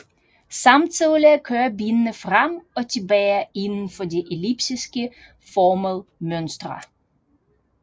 Samtidig kører benene frem og tilbage inden for de elliptisk formede mønstre